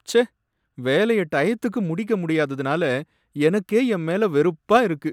ச்சே! வேலைய டயத்துக்கு முடிக்க முடியாததுனால எனக்கே என் மேல வெறுப்பா இருக்கு.